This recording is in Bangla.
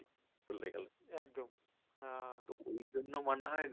তো ওই জন্য মনে হয়